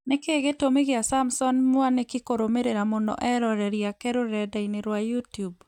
Nĩkĩĩ gĩtũmi gĩa Samson Mwanĩki kũrũmĩrĩra mũno eroreri ake rũrenda-inĩ rwa youtube